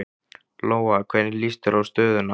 Lóa: Hvernig líst þér á stöðuna?